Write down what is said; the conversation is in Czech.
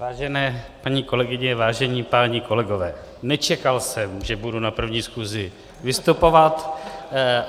Vážené paní kolegyně, vážení páni kolegové, nečekal jsem, že budu na první schůzi vystupovat.